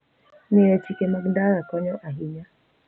Ng'eyo chike mag ndara konyo ahinya.